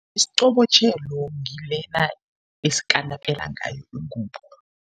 Isiqobotjhelo ngilena esikanapela ngayo ingubo.